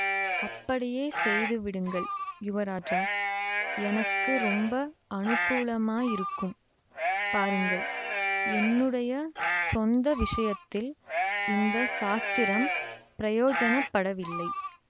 அப்படியே செய்துவிடுங்கள் யுவராஜா எனக்கு ரொம்ப அனுகூலமாயிருக்கும் பாருங்கள் என்னுடைய சொந்த விஷயத்தில் இந்த சாஸ்திரம் பிரயோஜனப்படவில்லை